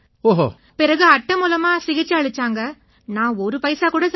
பிறகு அட்டை மூலமா சிகிச்சை அளிச்சாங்க நான் ஒரு பைசா கூட செலவு செய்யலை